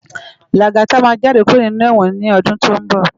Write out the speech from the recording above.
Lagata má jàdé kúró ninú èwòn ni òdún tó n bò